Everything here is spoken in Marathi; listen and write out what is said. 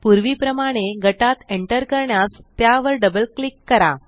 पूर्वीप्रमाणे गटात एंटर करण्यास त्यावर डबल क्लिक करा